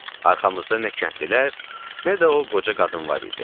Arxamızda nə kəndlilər, nə də o qoca qadın var idi.